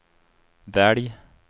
välj